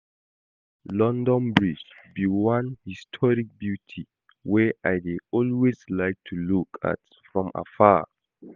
London bridge be one historic beauty wey I dey always like to look at from afar